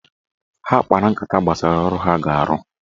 Ha kpara nkata gbasara ọrụ ha ga-arụ